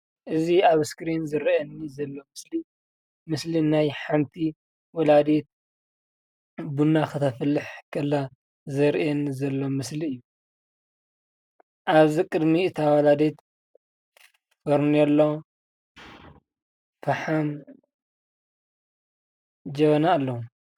እዚ ኣብ እስክሪን ዝረኣየኒ ዘሎ ምስሊ ምስሊ ናይ ሓንቲ ወላዲት ቡና ክተፍልሕ ከላ ዘርእየኒ ዘሎ ምስሊ እዩ። ኣብዚ ቅድሚ እታ ወላዲት ፈርኔሉ፣ ፈሓም፣ ጀበና ኣሎ።